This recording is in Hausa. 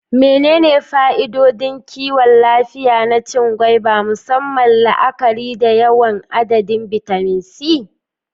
Menene fa'idodin kiwon lafiya na cin gwaiba, musamman la'akari da yawan adadin bitamin C?